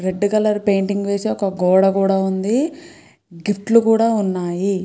Red colour painting వేసి ఒక గోడ కూడా ఉంది. గిఫ్టులు కూడా ఉన్నాయి.